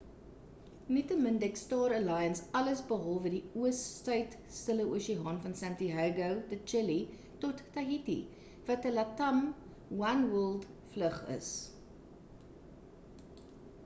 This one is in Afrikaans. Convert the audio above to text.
nietemin dek star alliance alles behalwe die oos suid stille oseaan van santiago de chile tot tahiti wat 'n latam oneworld vlug is